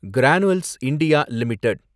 granules India limited